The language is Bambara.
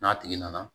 N'a tigi nana